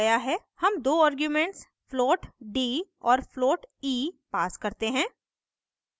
हम दो arguments float d और float e passed करते हैं